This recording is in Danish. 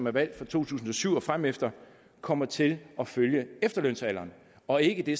er valgt fra to tusind og syv og fremefter kommer til at følge efterlønsalderen og ikke det